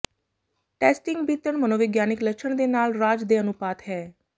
testing ਬੀਤਣ ਮਨੋਵਿਗਿਆਨਕ ਲੱਛਣ ਦੇ ਨਾਲ ਰਾਜ ਦੇ ਅਨੁਪਾਤ ਹੈ